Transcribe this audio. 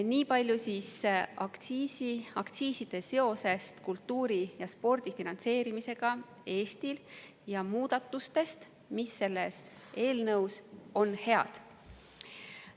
Nii palju siis aktsiiside seosest kultuuri ja spordi finantseerimisega Eestis ja muudatustest, mis selles eelnõus on head.